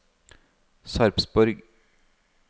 Sarpsborg